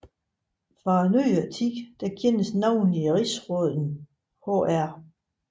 Fra nyere tid kendes navnlig rigsråden hr